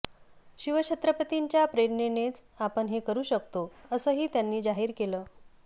शिवछत्रपतींच्या प्रेरणेनेच आपण हे करू शकतो असंही त्यांनी जाहीर केलं